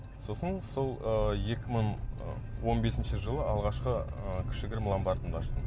сосын сол ыыы екі мың ы он бесінші жылы алғашқы ыыы кішігірім ломбардымды аштым